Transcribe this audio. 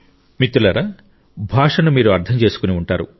మిత్రులారా భాషను మీరు అర్థం చేసుకుని ఉంటారు